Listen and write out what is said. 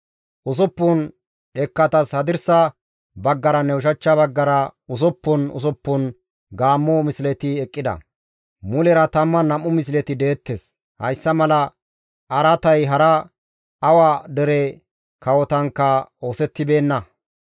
Usuppun dhekkatas hadirsa baggaranne ushachcha baggara usuppun usuppun gaammo misleti eqqida; mulera 12 misleti deettes; hayssa mala araatay hara awa dere kawotankka oosettibeenna.